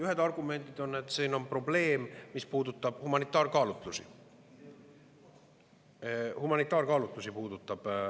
Ühed argumendid on, et siin on probleem, mis puudutab humanitaarkaalutlusi.